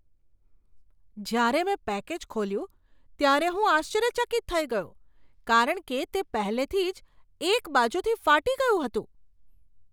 જ્યારે મેં પેકેજ ખોલ્યું ત્યારે હું આશ્ચર્યચકિત થઈ ગયો કારણ કે તે પહેલેથી જ એક બાજુથી ફાટી ગયું હતું!